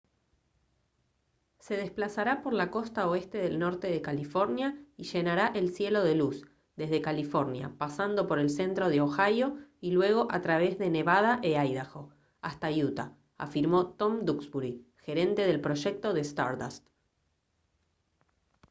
«se desplazará por la costa oeste del norte de california y llenará el cielo de luz desde california pasando por el centro de ohio y luego a través de nevada e idaho hasta utah» afirmó tom duxbury gerente del proyecto de stardust